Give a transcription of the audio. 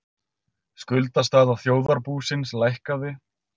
Skuldastaða þjóðarbúsins lækkaði